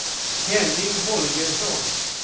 Henning Holgersson